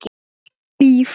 Og lífið.